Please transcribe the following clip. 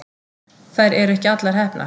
Þær eru ekki allar heppnar.